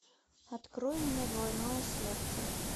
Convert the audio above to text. открой мне двойное сердце